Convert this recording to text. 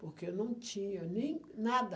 Porque não tinha nem nada.